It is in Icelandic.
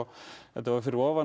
þetta var fyrir ofan